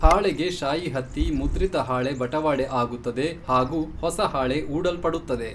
ಹಾಳೆಗೆ ಶಾಯಿ ಹತ್ತಿ ಮುದ್ರಿತ ಹಾಳೆ ಬಟವಾಡೆ ಆಗುತ್ತದೆ ಹಾಗೂ ಹೊಸಹಾಳೆ ಊಡಲ್ಪಡುತ್ತದೆ.